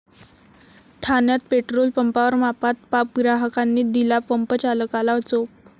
ठाण्यात पेट्रोल पंपावर मापात पाप, ग्राहकांनी दिला पंपचालकाला चोप